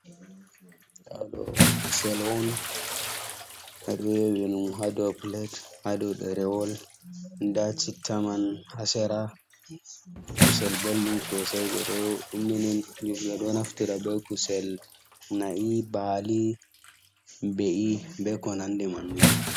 Kusel on ha dou pilet ha duo ɗerewol nɗa citta man ha sera kusel beldum sosai ɓeɗo naftira be kusel nai, bali be ko nande man ni.